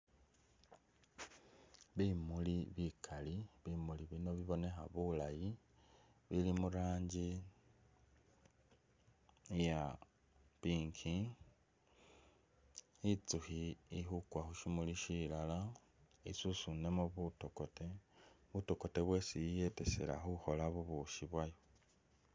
Bimuli bikali, bimuli bino bibonekha bulaayi bili muranji iya pink, intsukhi ili khukwa khushimuli shilala isusunemo butokote, butokote bwesi iyetesa khukhola bubukhi bwayo